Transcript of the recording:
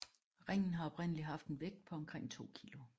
Ringen har oprindelig haft en vægt på omkring 2 kg